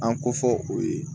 An ko fɔ o ye